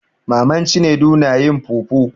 Maman cinedu na yin fufu.